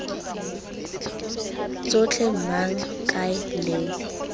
tsotlhe mang eng kae leng